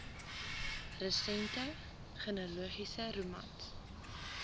resente genealogiese romans